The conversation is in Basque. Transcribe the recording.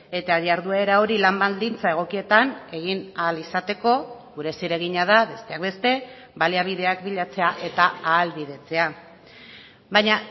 eta jarduera hori lan baldintza egokietan egin ahal izateko gure zeregina da besteak beste baliabideak bilatzea eta ahalbidetzea baina